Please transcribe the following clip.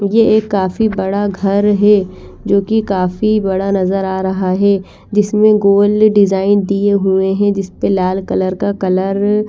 ये एक काफी बड़ा घर है जो कि काफी बड़ा नजर आ रहा है जिसमे गोल डिजाईन दिये हुए है जिसपे लाल कलर का कलर --